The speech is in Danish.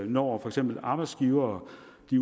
når for eksempel arbejdsgivere